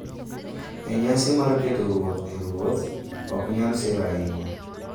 E nyasi mar keto ruoth e ruoth ok nyal sir ahinya.